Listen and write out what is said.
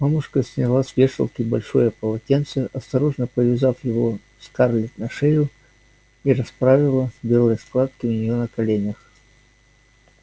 мамушка сняла с вешалки большое полотенце осторожно повязав его скарлетт на шею и расправила белые складки у неё на коленях